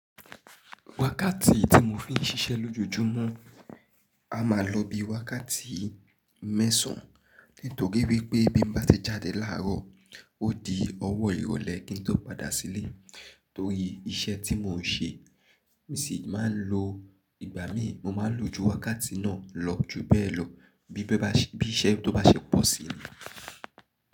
Wákàtí tí mo fi ń ṣiṣẹ́ lójojúmọ́, a máa lò bí i wákàtí mẹ́sàn-án. Nítorí wípé bí mo bá ti jáde láàárọ̀, ó di ọwọ́ ìrọ̀lẹ́ kí n tó padà sílé. Torí iṣẹ́ tí mò ń ṣe, mo sì máa ń lo ìgbà mí, mo máa lò ju wákàtí náà lọ ju bẹ́ẹ̀ lọ bí iṣẹ́ tó bá ṣẹ́pọ̀ sí mi.